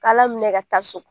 K'Ala minɛ ka taa so